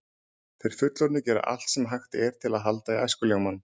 Þeir fullorðnu gera allt sem hægt er til að halda í æskuljómann.